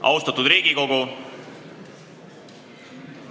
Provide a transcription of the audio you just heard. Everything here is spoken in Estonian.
Austatud Riigikogu!